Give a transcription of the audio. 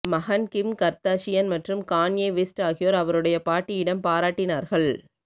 மகன் Kim Kardashian மற்றும் Kanye West ஆகியோர் அவருடைய பாட்டியிடம் பாராட்டினார்கள்